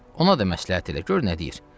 Ona da məsləhət elə, gör nə deyir.